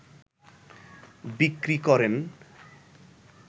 বিক্রি করেন